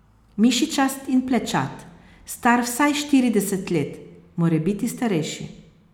Mišičast in plečat, star vsaj štirideset let, morebiti starejši.